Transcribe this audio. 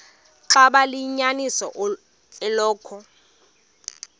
xaba liyinyaniso eloku